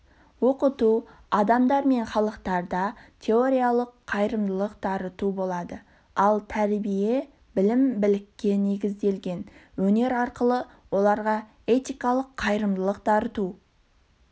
оқыту адамдар мен халықтарда теориялық қайырымдылық дарыту болады ал тәрбие білім-білікке негізделген өнер арқылы оларға этикалық қайырымдылық дарыту